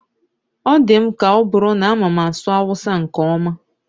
Ọ dị m ka ọ bụrụ na amama asụ awụsa nke ọma.